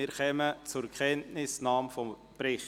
Somit kommen wir zur Kenntnisnahme des Berichts.